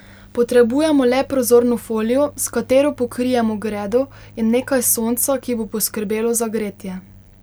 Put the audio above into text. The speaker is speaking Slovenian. Potrebujemo le prozorno folijo, s katero pokrijemo gredo, in nekaj sonca, ki bo poskrbelo za gretje.